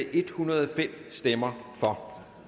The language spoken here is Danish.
en hundrede og fem stemmer